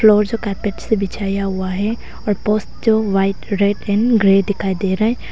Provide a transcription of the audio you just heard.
Floor जो carpet से बिछाया हुआ है और पोस्ट जो व्हाइट रेड एंड ग्रे दिखाई दे रहा है।